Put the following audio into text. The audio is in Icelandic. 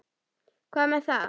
Hvað með það?